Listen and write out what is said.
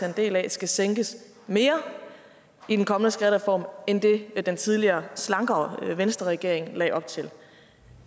en del af skal sænkes mere i den kommende skattereform end det den tidligere slankere venstreregering lagde op til